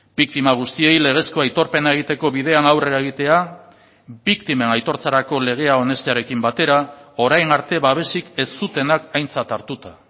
biktima guztiei legezko aitorpena egiteko bidean aurrera egitea biktimen aitortzarako legea onestearekin batera orain arte babesik ez zutenak aintzat hartuta